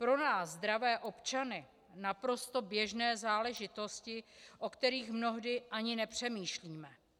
Pro nás, zdravé občany, naprosto běžné záležitosti, o kterých mnohdy ani nepřemýšlíme.